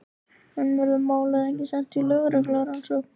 En verður málið ekki sent í lögreglurannsókn?